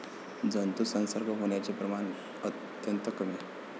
जंतुसंसर्ग होण्याचे प्रमाण अत्यंत कमी.